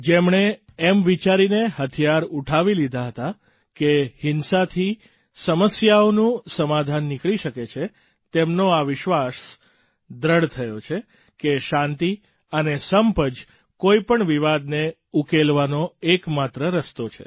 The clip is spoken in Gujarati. જેમણે એમ વિચારીને હથિયાર ઊઠાવી લીધા હતા કે હિંસાથી સમસ્યાઓનું સમાધાન નીકળી શકે છે તેમનો એ વિશ્વાસ દૃઢ થયો છે કે શાંતિ અને સંપ જ કોઈ પણ વિવાદને ઉકેલવાનો એક માત્ર રસ્તો છે